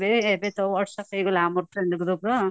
ଏବେ ତ whatsapp ହେଇଗଲା ଆମ training group ର